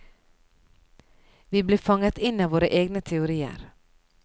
Vi blir fanget inn av våre egne teorier.